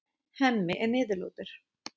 Hemmi er niðurlútur.